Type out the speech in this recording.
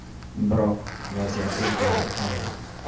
Biroq, vaziyat o‘zgarib qoldi.